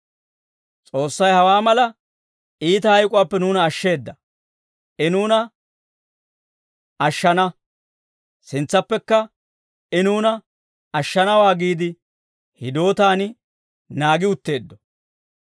S'oossay hawaa mala iita hayk'uwaappe nuuna ashsheeda; I nuuna ashshana; sintsappekka I nuuna ashshanawaa giide, hidootaan naagi utteeddo.